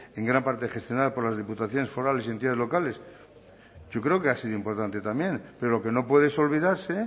en gran parte gestionadas por las diputaciones forales y entidades locales yo creo que ha sido importante también pero lo que no puede es olvidarse